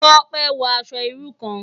Tope n wò aṣò irú kán